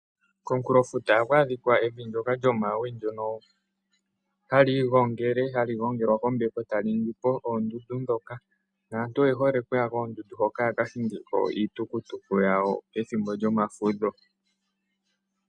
Komunkulo futa ohaku adhika evi lyomawe ndyono hali gongelwa kombepo. Aantu oye hole okuyako yaka hinge iitukutuku pomathimbo gomafudho.